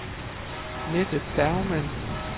Mette Bergmann